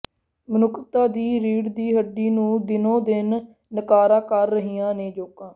ਮਨੁੱਖਤਾ ਦੀ ਰੀੜ ਦੀ ਹੱਡੀ ਨੂੰ ਦਿਨੋ ਦਿਨ ਨਕਾਰਾ ਕਰ ਰਹੀਆਂ ਨੇ ਜੋਕਾਂ